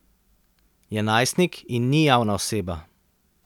Je najstnik in ni javna oseba.